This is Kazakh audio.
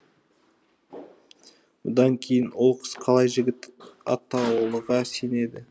бұдан кейін ол қыз қалай жігіт атаулыға сенеді